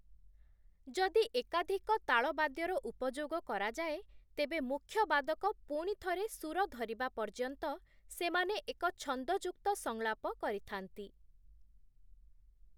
ଯଦି ଏକାଧିକ ତାଳବାଦ୍ୟର ଉପଯୋଗ କରାଯାଏ, ତେବେ ମୁଖ୍ୟ ବାଦକ ପୁଣି ଥରେ ସୁର ଧରିବା ପର୍ଯ୍ୟନ୍ତ, ସେମାନେ ଏକ ଛନ୍ଦଯୁକ୍ତ ସଂଳାପ କରିଥାନ୍ତି ।